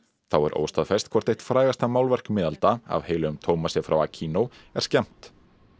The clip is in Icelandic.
þá er óstaðfest hvort eitt frægasta málverk miðalda af heilögum Tómasi frá Aquino er skemmt